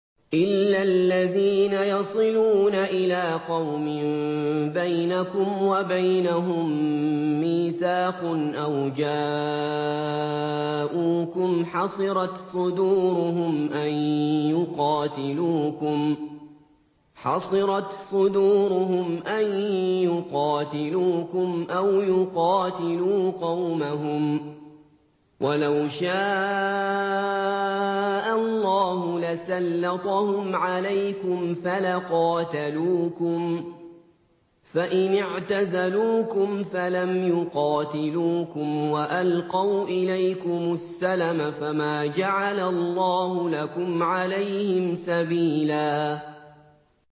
إِلَّا الَّذِينَ يَصِلُونَ إِلَىٰ قَوْمٍ بَيْنَكُمْ وَبَيْنَهُم مِّيثَاقٌ أَوْ جَاءُوكُمْ حَصِرَتْ صُدُورُهُمْ أَن يُقَاتِلُوكُمْ أَوْ يُقَاتِلُوا قَوْمَهُمْ ۚ وَلَوْ شَاءَ اللَّهُ لَسَلَّطَهُمْ عَلَيْكُمْ فَلَقَاتَلُوكُمْ ۚ فَإِنِ اعْتَزَلُوكُمْ فَلَمْ يُقَاتِلُوكُمْ وَأَلْقَوْا إِلَيْكُمُ السَّلَمَ فَمَا جَعَلَ اللَّهُ لَكُمْ عَلَيْهِمْ سَبِيلًا